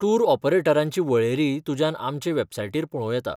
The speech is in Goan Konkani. टूर ऑपरेटरांची वळेरी तुज्यान आमचे वॅबसायटीर पळोवं येता.